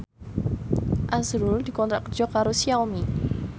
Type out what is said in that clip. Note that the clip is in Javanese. azrul dikontrak kerja karo Xiaomi